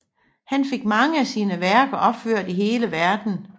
Han fik mange af sine værker opført i hele Verden